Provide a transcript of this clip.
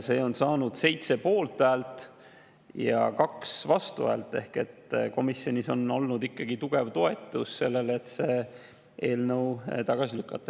See on saanud 7 poolthäält ja 2 vastuhäält ehk komisjonis on olnud ikkagi tugev toetus sellele, et see eelnõu tagasi lükata.